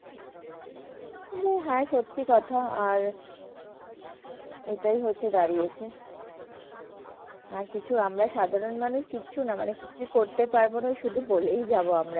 হ্যাঁ সত্যি কথা আর এটাই হচ্ছে দাঁড়িয়েছে। আর কিছু আমরা সাধারণ মানুষ কিচ্ছু না মানে, কিছু করতে পারবো না। শুধু বলেই যাব আমরা।